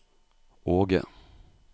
Åge